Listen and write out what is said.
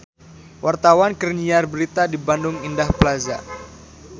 Wartawan keur nyiar berita di Bandung Indah Plaza